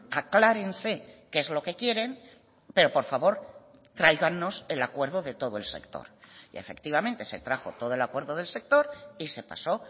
aclárense que es lo que quieren pero por favor tráiganos el acuerdo de todo el sector y efectivamente se trajo todo el acuerdo del sector y se pasó